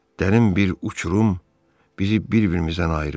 Dərin bir uçurum bizi bir-birimizdən ayırır.